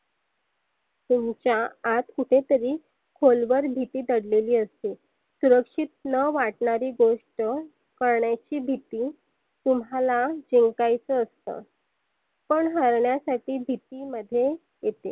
तुमच्या आत कुठे तरी खोलवर भिती दडलेली असते. सुरक्षीत न वाटनारी गोष्ट करण्याची भिती तुम्हाला जिंकायच असतं. कोण हरण्यासाठी भिती मध्ये येते.